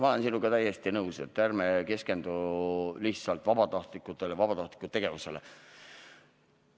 Ma olen sinuga täiesti nõus, ärme keskendume lihtsalt vabatahtlikele ja vabatahtlike tegevusele.